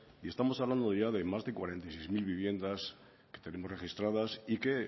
y estamos hablando ya de más de cuarenta y seis mil viviendas que tenemos registradas y que